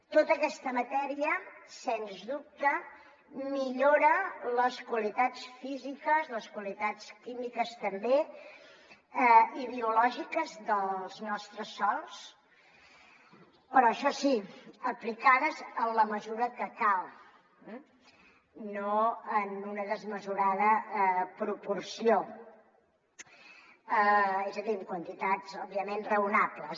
tota aquesta matèria sens dubte millora les qualitats físiques les qualitats químiques també i biològiques dels nostres sòls però això sí aplicades en la mesura que cal no en una desmesurada proporció és a dir en quantitats òbviament raonables